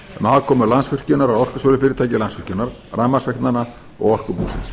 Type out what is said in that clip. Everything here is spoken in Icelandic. aðkomu landsvirkjunar að orkusölufyrirtæki landsvirkjunar rafmagnsveitnanna og orkubúsins